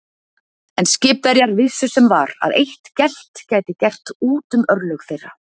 En skipverjar vissu sem var, að eitt gelt gæti gert út um örlög þeirra.